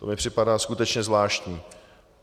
To mi připadá skutečně zvláštní.